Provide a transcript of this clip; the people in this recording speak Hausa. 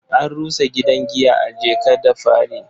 An rusa gidan giya a Jeka-da-Fari.